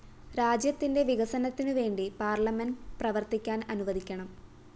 രാജ്യത്തിന്റെ വികസനത്തിനുവേണ്ടി പാർലമെന്റ്‌ പ്രവര്‍ത്തിക്കാന്‍ അനുവദിക്കണം